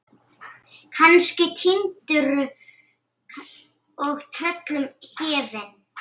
Kannski týndur og tröllum gefinn.